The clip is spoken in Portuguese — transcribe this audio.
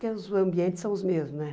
Porque os ambientes são os mesmos, né?